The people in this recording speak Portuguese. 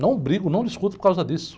Não brigo, não discuto por causa disso.